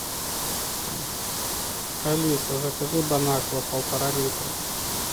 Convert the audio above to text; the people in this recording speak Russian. алиса закажи бон аква полтора литра